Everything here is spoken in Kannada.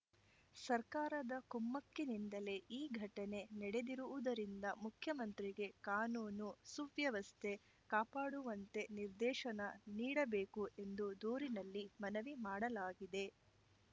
ಸರ್ಕಾರದ ಕುಮ್ಮಕ್ಕಿನಿಂದಲೇ ಈ ಘಟನೆ ನಡೆದಿರುವುದರಿಂದ ಮುಖ್ಯಮಂತ್ರಿಗೆ ಕಾನೂನುಸುವ್ಯವಸ್ಥೆ ಕಾಪಾಡುವಂತೆ ನಿರ್ದೇಶನ ನೀಡಬೇಕು ಎಂದು ದೂರಿನಲ್ಲಿ ಮನವಿ ಮಾಡಲಾಗಿದೆ